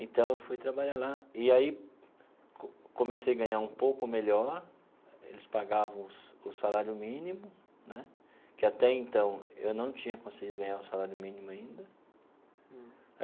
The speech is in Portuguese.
Então, eu fui trabalhar lá e aí comecei a ganhar um pouco melhor, eles pagavam o sa o salário mínimo né, que até então eu não tinha conseguido ganhar o salário mínimo ainda.